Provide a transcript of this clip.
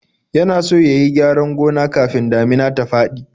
Yana so ya yi gyaran gona kafin damina ta faɗi.